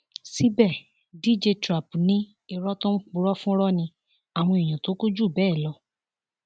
síbẹ dj trap ni irọ tó ń purọ fúnrọ ni àwọn èèyàn tó kù jù bẹẹ lọ